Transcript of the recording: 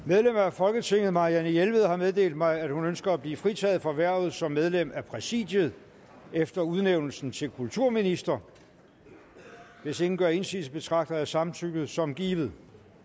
folketinget marianne jelved har meddelt mig at hun ønsker at blive fritaget for hvervet som medlem af præsidiet efter udnævnelsen til kulturminister hvis ingen gør indsigelse betragter jeg samtykket som givet